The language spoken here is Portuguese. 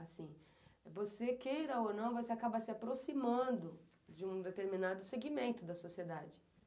Assim, você queira ou não, você acaba se aproximando de um determinado segmento da sociedade.